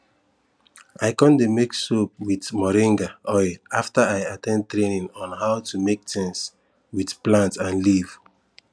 i con dey make soap with moringa oil after i at ten d training on how to make things with plant and leaf